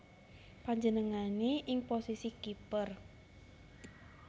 Panjenengané ing posisi kiper